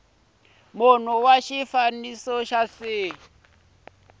munhu wa xifaniso xa c